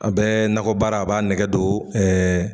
A be nakɔbaara a b'a nɛgɛ don ɛɛ